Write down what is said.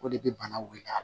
O de bɛ bana wuli a la